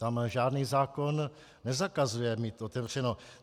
Tam žádný zákon nezakazuje mít otevřeno.